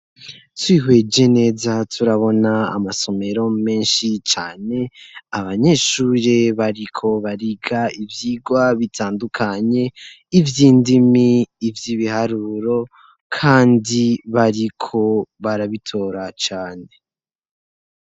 Twihweje neza turabona amasomero menshi cane abanyeshuri bariko bariga ivyigwa bitandukanye ivyindimi ivyibiharuro kandi bariko barabitora cane.